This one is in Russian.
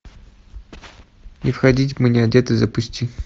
не входить мы не одеты запусти